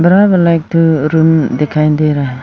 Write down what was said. Room दिखाई दे रहा है।